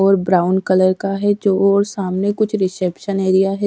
और brown colour का है जो और सामने कुछ रिसेप्शन एरिया है।